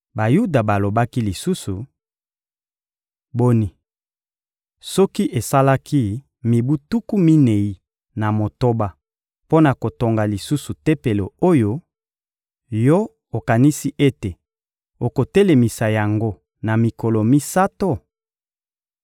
Bayuda balobaki lisusu: — Boni, soki esalaki mibu tuku minei na motoba mpo na kotonga lisusu Tempelo oyo, yo okanisi ete okotelemisa yango na mikolo misato?